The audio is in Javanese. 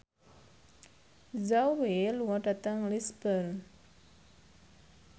Zhao Wei lunga dhateng Lisburn